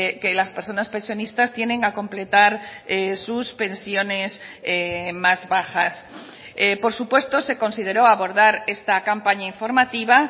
que las personas pensionistas tienen a completar sus pensiones más bajas por supuesto se consideró abordar esta campaña informativa